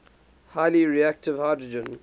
highly reactive hydrogen